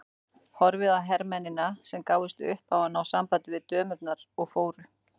Horfði á hermennina sem gáfust upp á að ná sambandi við dömurnar og fóru.